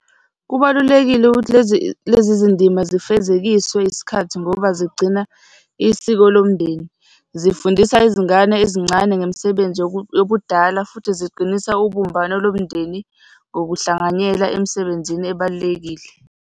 Kubalulekile ukuthi lezi lezi zindima zifezekiswe yisikhathi ngoba zigcina isiko lomndeni, zifundisa izingane ezincane ngemisebenzi yobudala, futhi ziqinisa ubumbano lomndeni ngokuhlanganyela emisebenzini ebalulekile.